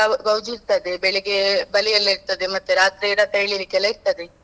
ಅದುಸ ಗೌ~ ಗೌಜಿ ಇರ್ತದೆ, ಬೆಳಿಗ್ಗೆ ಬಲಿ ಎಲ್ಲಾ ಇರ್ತದೆ ಮತ್ತೆ ರಾತ್ರಿ ಎಲ್ಲಾ ಇರ್ತದೆ.